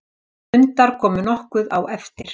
Hundar komu nokkuð á eftir.